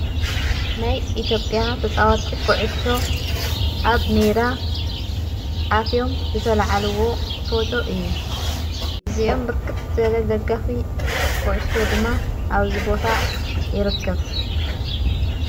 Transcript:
ናይ ኢትዮጵያ ተፃዋቲ ዂዑሾ ኣብ ሜዳ ኣትዮም ዝተለዓልዎ ፎቶ እዩ እዚኦም ብርክት ዘለ ደጋፊ ኩዕሾ ድማ ኣብ ዝቦታ ይረከብ።